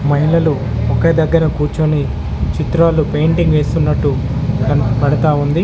మహిళలు ఒకే దగ్గర కూర్చొని చిత్రాలు పెయింటింగ్ వేస్తున్నట్టు కనపడతా ఉంది.